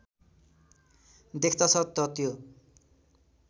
देख्दछ त त्यो